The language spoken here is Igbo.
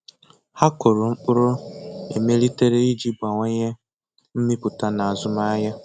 Ha kụrụ mkpụrụ emelitere iji bawanye mmipụta na azụmahịa.